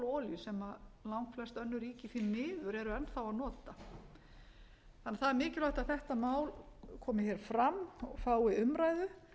olíu sem langflest önnur ríki því miður eru enn þá að nota það er mikilvægt að þetta mál komi hér fram og fái umræðu